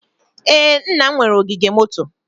Ee, nna m nwere ogige moto.